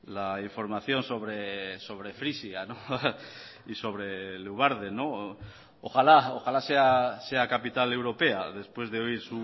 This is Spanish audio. la información sobre frisia ojalá sea capital europea después de oír